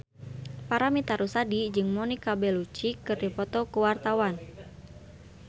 Paramitha Rusady jeung Monica Belluci keur dipoto ku wartawan